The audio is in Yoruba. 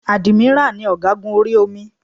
Ádímírà ni ọ̀gágun orí omi